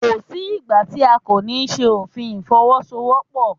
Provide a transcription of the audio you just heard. Kò sí ìgbà tí a kò ní ṣe òfin Ìfọwọ́sowọ́pọ̀.